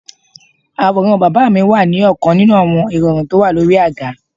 Àwòrán bàbá mi wà ní ọkan ninu àwọn irọrun tó wà lórí àga.